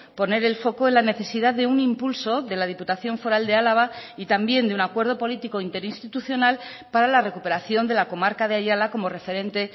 poner el foco en la necesidad de un impulso de la diputación foral de álava y también de un acuerdo político interinstitucional para la recuperación de la comarca de ayala como referente